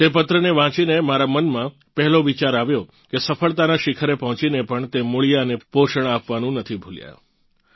તે પત્રને વાંચીને મારાં મનમાં પહેલો વિચાર આવ્યો કે સફળતાનાં શિખરે પહોંચીને પણ તે મૂળિયાંને પોષણ આપવાનું નથી ભૂલ્યાં